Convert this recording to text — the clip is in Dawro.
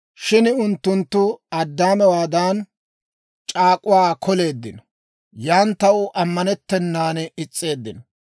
«Shin unttunttu Addaamewaadan, c'aak'uwaa koleeddinno; yan taw ammanettennan is's'eeddino.